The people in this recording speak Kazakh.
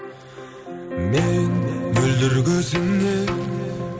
мен мөлдір көзіңе